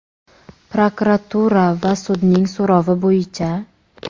prokuratura va sudning so‘rovi bo‘yicha;.